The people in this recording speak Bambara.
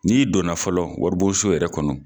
N'i donna fɔlɔ waribonso yɛrɛ kɔnɔ.